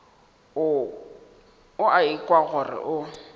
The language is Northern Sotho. o a ikwa gore o